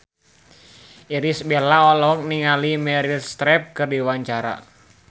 Irish Bella olohok ningali Meryl Streep keur diwawancara